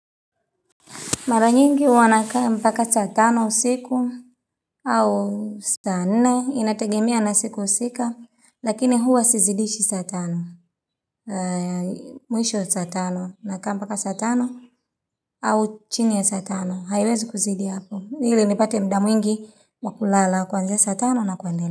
Mara nyingi hwwanakaa mpaka saa tano usiku au sane inategemia na siku husika lakini huwa sizidishi saa tano. Mwisho saa tano nakaa mpaka saa tano au chini ya saa tano. Haiwezi kuzidi hapo. Hili nipate muda mwingi wakulala kuanzia saa tano na kuendelea.